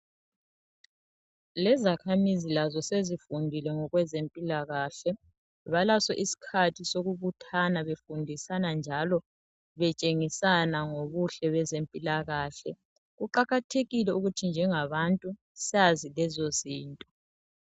Lezakhamizi lazo sezifundile ngokwezempilakahle balaso isikhathi sokubuthana befundisana njalo betshengisana ngobuhle bezempilakahle kuqakathekile ukuthi nje ngabantu sazi lezo zinto.